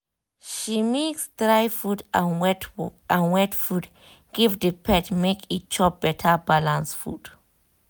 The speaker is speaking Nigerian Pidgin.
she mix dry food and wet food give the pet make e chop better balanced food